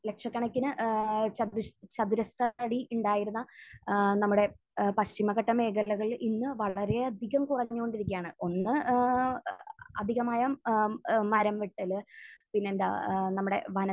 ലക്ഷക്കണക്കിന് ഏഹ് ചതുർഷ്...ചതുരശ്ര അടി ഉണ്ടായിരുന്ന ഏഹ് നമ്മുടെ ഏഹ് പശ്ചിമഘട്ട മേഖലകൾ ഇന്ന് വളരെയധികം കുറഞ്ഞുകൊണ്ടിരിക്കുകയാണ്. ഒന്ന്, ഏഹ് അധികമായ ഏഹ് മരം വെട്ടൽ. പിന്നെയെന്താ ഏഹ് നമ്മുടെ വനത്തെ